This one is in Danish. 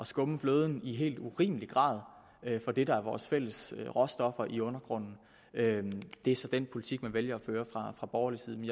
skumme fløden i helt urimelig grad af det der er vores fælles råstoffer i undergrunden det er så den politik man vælger at føre fra borgerlig side